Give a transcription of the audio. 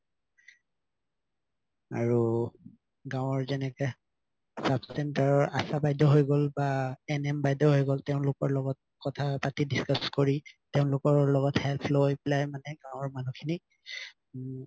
আৰু গাওঁৰ যেনেকে sub-center ৰ আশা বাইদেউ হৈ গল বা NM বাইদেউ হৈ গল তেওঁলোকৰ লগত কথা পাতি discuss কৰি তেওঁলোকৰ লগত help লৈ পেলাই মানে গাওঁৰ মানুহ খিনিক উৱ